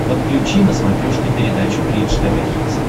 подключи на смотрешке передачу бридж тв хитс